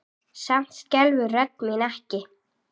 Samt skelfur rödd mín ekki.